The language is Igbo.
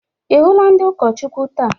Ị hụla ndị ụkọchukwu taa?